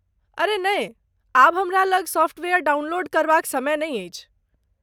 अरे नहि, आब हमरा लग सॉफ्टवेयर डाउनलोड करबाक समय नहि अछि।